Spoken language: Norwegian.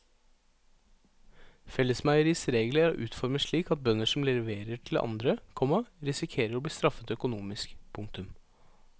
Fellesmeieriets regler er utformet slik at bønder som leverer til andre, komma risikerer å bli straffet økonomisk. punktum